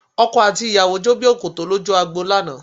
Ọkọ àti ìyàwó jó bí òkòtó lójú agbo lánàá